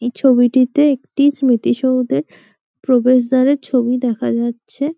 এই ছবিটিতে একটি স্মৃতিসৌধের প্রবেশ দ্বারের ছবি দেখা যাচ্ছে।